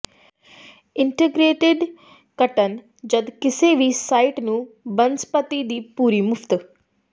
integrated ਕੱਟਣ ਜਦ ਕਿਸੇ ਵੀ ਸਾਈਟ ਨੂੰ ਬਨਸਪਤੀ ਦੀ ਪੂਰੀ ਮੁਫ਼ਤ